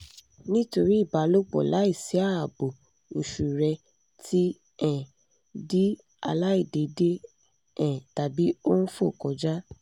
nítorí ìbálòpọ̀ láìsí ààbò oṣù rẹ ti um di aláìdéédé um tàbí ó ń fò kọjá